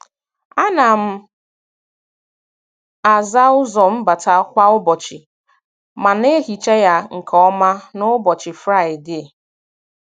A na m aza ụzọ mbata kwa ụbọchị, ma na-ehicha ya nke ọma n'ụbọchị Fraidee